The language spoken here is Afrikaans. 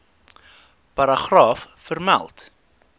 paragraaf vermeld